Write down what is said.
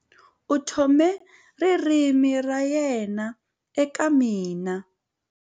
U tlhome ririmi ra yena eka mina.